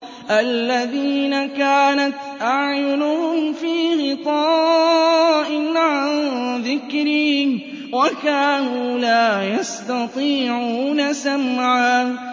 الَّذِينَ كَانَتْ أَعْيُنُهُمْ فِي غِطَاءٍ عَن ذِكْرِي وَكَانُوا لَا يَسْتَطِيعُونَ سَمْعًا